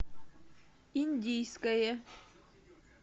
индийское